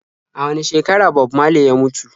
A wane shekara Bob marley ya mutu?